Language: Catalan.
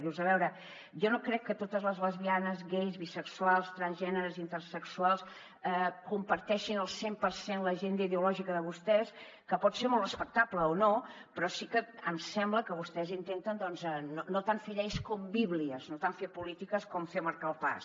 dius a veure jo no crec que totes les lesbianes gais bisexuals transgèneres intersexuals comparteixin al cent per cent l’agenda ideològica de vostès que pot ser molt respectable o no però sí que em sembla que vostès intenten doncs no tant fer lleis com bíblies no tant fer polítiques com fer marcar el pas